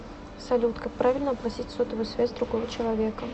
салют как правильно оплатить сотовую связь другого человека